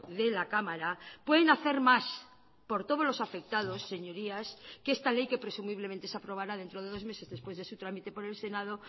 de la cámara pueden hacer más por todos los afectados señorías que esta ley que presumiblemente se aprobará dentro de dos meses después de su tramite por el senado